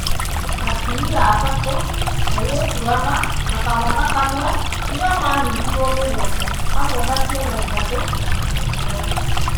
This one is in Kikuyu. Atumia atatũ, airĩtu ana na kamwana kamwe nĩo maanyitirwo mĩgwate hamwe na ciana ithatũ, akĩongerera.